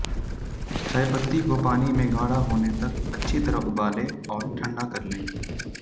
चाय पत्ती को पानी में गाढ़ा होने तक अच्छी तरह उबालें और ठंडा कर लें